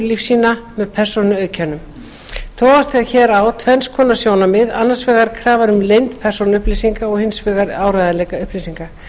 þjónustulífsýna með persónuauðkennum togast hér á tvenns konar sjónarmið annars vegar krafan um leynd persónuupplýsinga og hins vegar um áreiðanleika upplýsinga